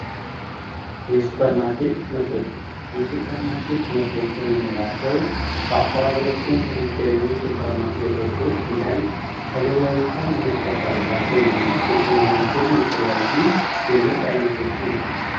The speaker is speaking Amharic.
የሱፐር ማርኬት ምርቶች የሱፐር ማርኬት ምርቶች የምንላቸው በአካባቢያችን ከሚገኙ ሱፐር ማርኬቶች ሂደን ተገበያይተን ልንጠቀምባቸው የምንችል የተለያዩ የምርት አይነቶችን ነው።